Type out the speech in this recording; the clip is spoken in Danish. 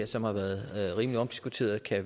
som har været rimelig omdiskuteret her